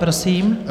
Prosím.